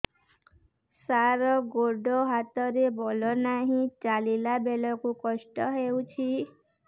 ସାର ଗୋଡୋ ହାତରେ ବଳ ନାହିଁ ଚାଲିଲା ବେଳକୁ କଷ୍ଟ ହେଉଛି